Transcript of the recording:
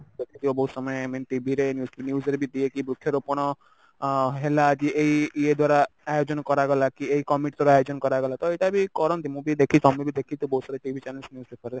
ଦେଖିଥିବ ବହୁତ ସମୟ i mean TV ରେ news ରେ ବି ଦିଏ କି ବୃକ୍ଷରୋପଣ ଅ ହେଲା ଆଜି ଏଇ ଇଏ ଦ୍ଵାରା ଆୟୋଜନ କରାଗଲା କି ଏଇ କମିଟି ଦ୍ଵାରା ଆୟୋଜନ କରାଗଲା ତ ଏଇଟା କରନ୍ତି ମୁଁ ବି ଦେଖିଛି ତମେ ବି ଦେଖିଥିବ ବହୁତ ସାରା TV channels news paper ରେ